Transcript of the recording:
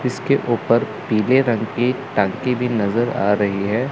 इसके ऊपर पीले रंग की टंकी भी नजर आ रही है।